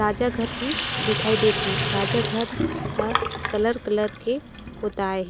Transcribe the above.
राजा घर भी दिखाई देत है राजा घर हर कलर कलर के पोताई।